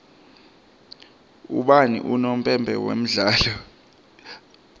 ubani unompempe walomdlalo